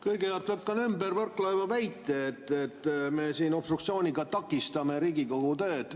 Kõigepealt lükkan ümber Mart Võrklaeva väite, et me obstruktsiooniga takistame Riigikogu tööd.